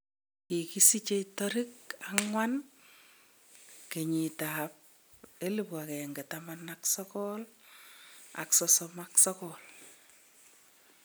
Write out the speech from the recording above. Kikisichei tarik 4 1939